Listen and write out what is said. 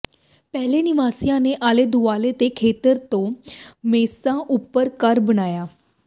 ਪਹਿਲੇ ਨਿਵਾਸੀਆਂ ਨੇ ਆਲੇ ਦੁਆਲੇ ਦੇ ਖੇਤਰ ਤੋਂ ਮੇਸਾ ਉੱਪਰ ਘਰ ਬਣਾਇਆ